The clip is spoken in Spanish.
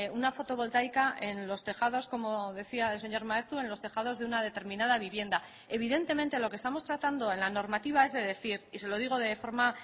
una fotovoltaica en los tejados como decía el señor maeztu en los tejados de una determinada vivienda evidentemente lo que estamos tratando en la normativa es de decir y se lo digo de forma